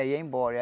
Ia embora.